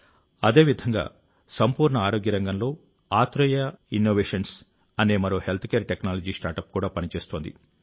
అదేవిధంగా సంపూర్ణ ఆరోగ్య రంగంలో ఆత్రేయ ఇన్నోవేషన్స్ అనే మరో హెల్త్కేర్ టెక్నాలజీ స్టార్టప్ కూడా పనిచేస్తోంది